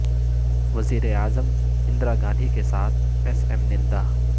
وزیر اعظم اندرا گاندھی کے ساتھ ایس ایم نندا